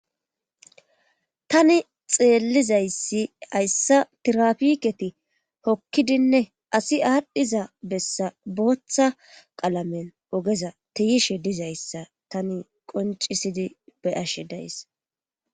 Tani xeellizayssi hayssa tirapiketi hokkidinne asi aadhdhiza bessa booththa qalamen ogeza tiyishe dizayssa tani qoncisidi beyashe days.